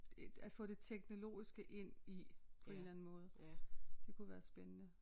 At få det teknologiske ind i på en eller anden måde det kunne være spændende